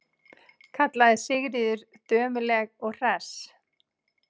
kallaði Sigríður dömuleg og hress.